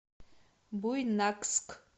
буйнакск